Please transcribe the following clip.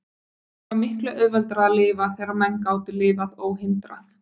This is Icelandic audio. Það var miklu auðveldara að lifa þegar menn gátu lifað óhindrað.